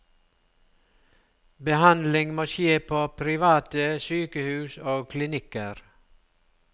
Behandling skal skje på private sykehus og klinikker.